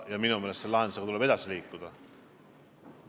Ja minu meelest selle lahendamisega tuleb edasi liikuda.